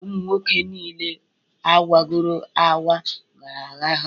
Ụmu nwoke nille awagọro akwa gara agha.